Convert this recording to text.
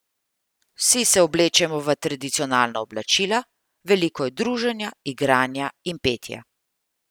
Vsi se oblečemo v tradicionalna oblačila, veliko je druženja, igranja in petja.